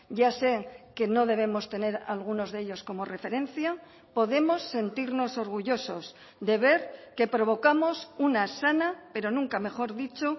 ya sé que no debemos tener algunos de ellos como referencia podemos sentirnos orgullosos de ver que provocamos una sana pero nunca mejor dicho